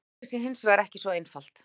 Málið sé hins vegar ekki svo einfalt